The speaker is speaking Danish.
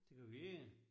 Det gør vi ikke